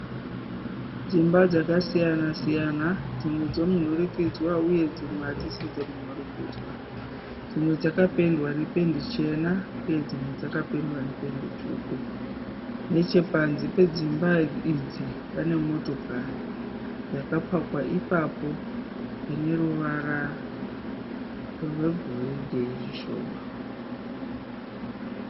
Dzimba dzakasiyana siyana dzimwe dzemunhurikidzwa uye dzimwe hadzisi dzemunhurikidzwa. Dzimwe dzakapendewa nependi chena uye dzimwe dzakapendwa nependi tsvuku. Nechepanze pedzimba idzi pane motokari yakapakwa ipapo ine ruvara rwegoridhe zvishoma.